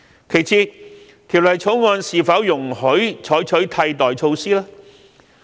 其次，《條例草案》是否容許採取替代措施呢？